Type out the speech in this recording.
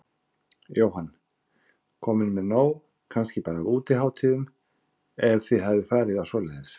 Jóhann: Komin með nóg kannski bara af útihátíðum, ef þið hafið farið á svoleiðis?